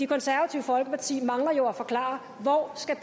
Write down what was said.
konservative folkeparti mangler jo at forklare hvor